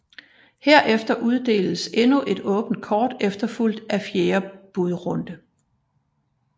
Herefter uddeles endnu et åbent kort efterfulgt af fjerde budrunde